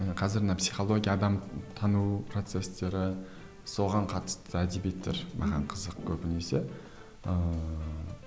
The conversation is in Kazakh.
ы қазір мына психология адам тану процестері соған қатысты әдебиеттер маған қызық көбінесе ыыы